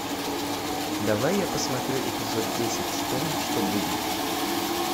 давай я посмотрю эпизод десять вспомни что будет